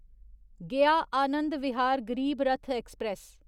Gaya Anand Vihar Garib Rath express